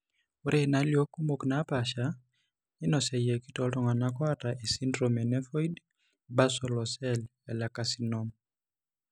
Ore inaalio kumok naapaasha neinosuaki tooltung'anak oata esindirom eNevoid basal ocell lecarcinom.